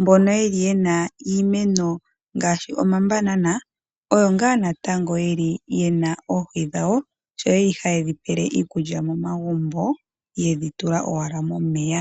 Mbono yeli yena iimeno ngaashi omabanana oyo ngaa natango yeli yena oohi dhawo. Ohayedhi pele iikulya momagumbo yedhi tula owala momeya.